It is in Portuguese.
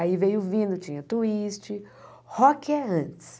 Aí veio vindo, tinha Twist, Rock é antes.